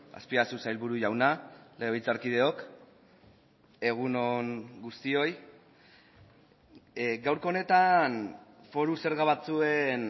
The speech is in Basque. azpiazu sailburu jauna legebiltzarkideok egun on guztioi gaurko honetan foru zerga batzuen